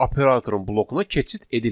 Operatorun blokuna keçid edilmir.